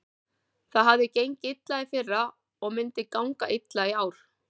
Það hafði gengið illa í fyrra og myndi ganga illa í ár.